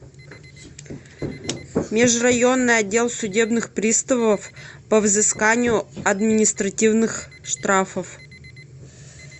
межрайонный отдел судебных приставов по взысканию административных штрафов